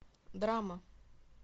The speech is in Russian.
драма